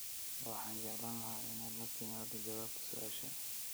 Waxaan jeclaan lahaa inaad la timaado jawaabta su'aasha